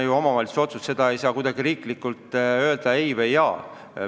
See on omavalitsuse otsus, riik ei saa selle peale kuidagi öelda "ei" või "jaa".